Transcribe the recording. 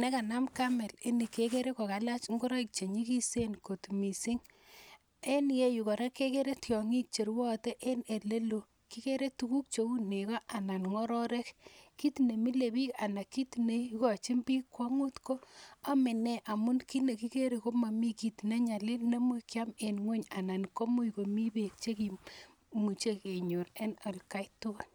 nekanam camel inii kekere kokalach ingoroik che nyikisen kot mising, en iyeyu kora kekere tiongik cherwoyote en eleloo, kikere tukuk cheuu nekoo alaan ngororek, kiit nemilebik alaan kiit neikochin biik kwongut ko omenee amun kiit nekikere komomii kiit nenyalil neimuch kiam en ngweny anan komuch komii beek chekimuche kenyor en atkai tukul.